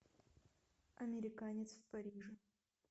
американец в париже